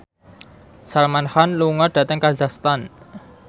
Salman Khan lunga dhateng kazakhstan